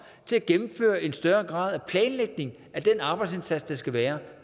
til at gennemføre en større grad af planlægning af den arbejdsindsats der skal være